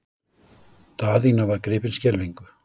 Daðína var gripin skelfingu.